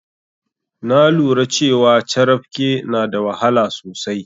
Na lura cewa carafke na da wahala sosai.